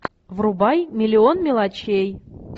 врубай миллион мелочей